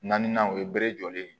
Naaninan o ye bere jɔlen ye